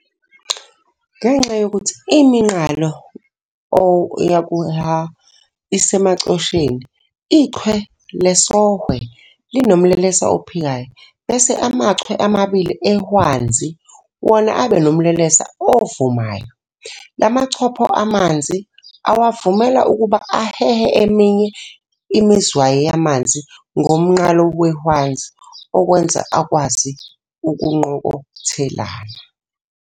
Ngenxa yokuthi iminqalo O-H isemacosheni, iChwe lesOhwe linomlelesa ophikayo bese amachwe amabili eHwanzi wona abe nomlelesa ovumayo. Lama chopho amanzi, awavumela ukuba ahehe eminye imizwayi yamanzi ngomnqalo wehwanzi, okuwenza akwazi ukunqokothelana.